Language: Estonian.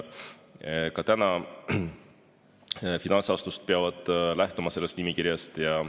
Ka täna finantsasutused peavad lähtuma sellest nimekirjast.